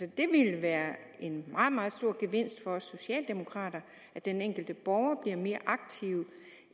det ville være en meget meget stor gevinst for os socialdemokrater at den enkelte borger bliver mere aktiv